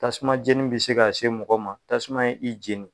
Tasuma jeni be se ka se mɔgɔ ma . Tasuma ye i jeni.